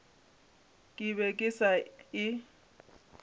ke be ke sa e